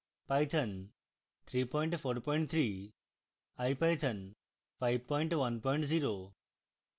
python 343